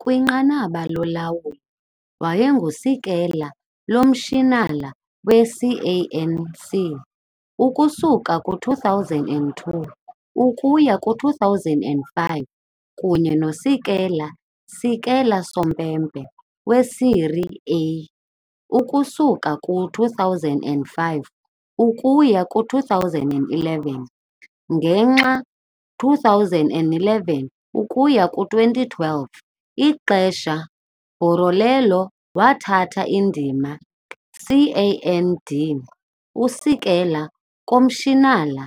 Kwinqanaba lolawulo, wayengusekela-komishinala we-CAN C ukusuka ku-2002 ukuya ku-2005 kunye nosekela-sekela-sompempe we-Serie A ukusuka ku-2005 ukuya ku-2011, ngenxa 2011-2012 ixesha Borriello wathatha indima CAN D usekela-komishinala,